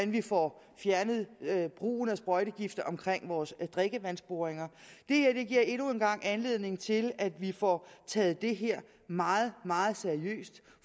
vi får fjernet brugen af sprøjtegifte omkring vores drikkevandsboringer det her giver endnu en gang anledning til at vi får taget det her meget meget seriøst